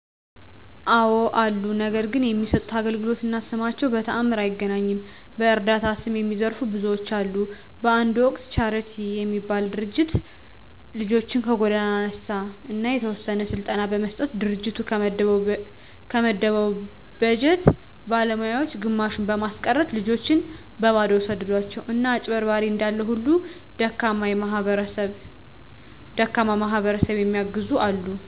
አወ አሉ። ነገር ግን የሚሠጡት አገልግሎት እና ስማቸው በተአምር አይገናኝም። በዕረዳታ ስም የሚዘርፉ ብዙዎች አሉ። በአንድ ወቅት ቻረቲ የሚባል ድርጅት ልጆችን ከጎዳና አነሣ አና የተወሰነ ስልጠና በመስጠት ድርጅቱ ከመደበው በጀት ባለሞያወች ግማሹን በማስቀረት ልጆችን በበባዶው ሰደዷቸው። አና አጭበርባሪ እንዳለ ሁሉ ደካማ ማሕበረሰብ የሚየግዙ አሉ።